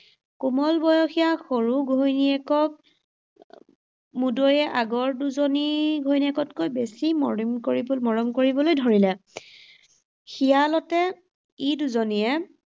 কোমল বয়সীয়া সৰু ঘৈণীয়েকক মুদৈয়ে আগৰ দুজনী ঘৈণীয়েকতকৈ বেছি মৰম, মৰম কৰিবলৈ ধৰিলে। খিয়ালতে ই দুজনীয়ে